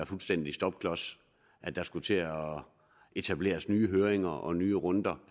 fuldstændig stopklods at der skulle til at etableres nye høringer og nye runder